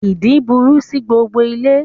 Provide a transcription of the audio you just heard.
Ìdin burú sí gbogbo ilé